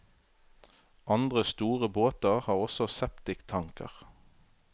Andre store båter har også septiktanker.